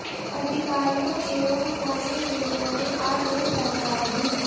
अधिकारियों एवं स्थानीय मीडिया ने आज यह जानकारी दी